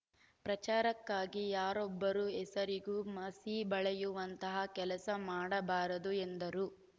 ಪ್ರಚಾರಕ್ಕಾಗಿ ಯಾರೊಬ್ಬರ ಹೆಸರಿಗೂ ಮಸಿ ಬಳಿಯುವಂತಹ ಕೆಲಸ ಮಾಡಬಾರದು ಎಂದರು